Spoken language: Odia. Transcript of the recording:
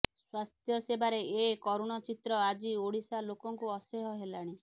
ସ୍ୱାସ୍ଥ୍ୟ ସେବାର ଏ କରୁଣ ଚିତ୍ର ଆଜି ଓଡିଶା ଲୋକଙ୍କୁ ଅସ୍ୟହ ହେଲାଣି